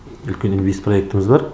үлкен инвестпроектіміз бар